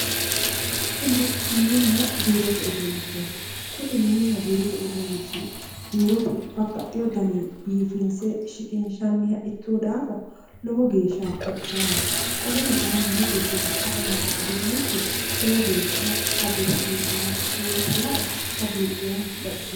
Kuni mininna biirote uduunnichooti kuni mininna biirote uduunnichi biirote babbaxino daninni biifinse shiqinshanniha ikkino daafo lowo geeshsha baxisaaho qoleno kayinni mini giddo afamanno uduunnichi lowo geeshsha hagiirsiisannoha ikkinota lae hagiidhoomma baxisinoe.